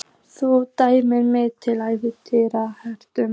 Þú dæmdir mig til ævilangrar þrælkunar!